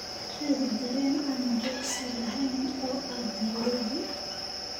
raadi tareen aan joogsi lahayn oo aad nairobi